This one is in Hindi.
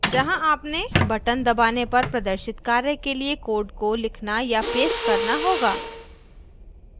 जहाँ आपने button दबाने पर प्रदर्शित कार्य के लिए code को लिखना या paste करना होगा